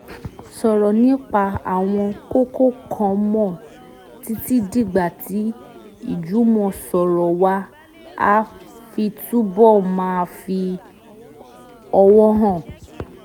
sọ̀rọ̀ nípa àwọn kókó kan mọ́ títí dìgbà tí ìjùmọ̀sọ̀rọ̀ wa á fi túbọ̀ máa fi ọ̀wọ̀ hàn